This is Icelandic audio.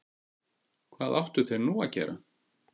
Hvað áttu þeir nú að gera?